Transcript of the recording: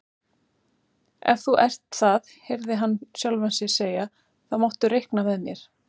Ef þú ert það heyrði hann sjálfan sig segja, þá máttu reikna með mér